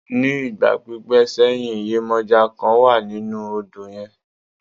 Ní ìgbà pípẹ́ sẹ́yìn, yemọja kan wà nínú odò yẹn.